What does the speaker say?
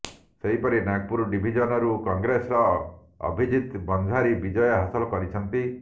ସେହିପରି ନାଗପୁର ଡିଭିଜନରୁ କଂଗ୍ରେସର ଅଭିଜିତ ବଞ୍ଜାରୀ ବିଜୟ ହାସଲ କରିଛନ୍ତି